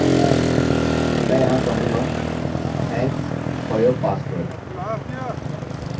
अतः मैं मेरे पासवर्ड के रूप में 123 टाइप करूँगा और मैं यहाँ क्लिक करूँगा